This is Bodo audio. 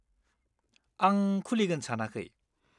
आं खुलिगोन सानाखै।